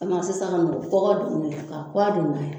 A bi na sisan ka na kɔgɔ don n na ka don ka kuwa don in na yan